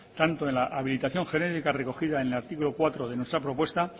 tanto en la habilitación genérica recogida en el artículo cuatro de nuestra propuesta